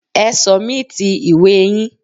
Ẹ sọ̀míìtì ìwée yín.!